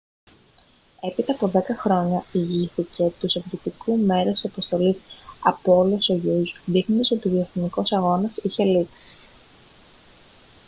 έπειτα από δέκα χρόνια ηγήθηκε του σοβιετικού μέρους της αποστολής apollo-soyuz δείχνοντας ότι ο διαστημικός αγώνας είχε λήξει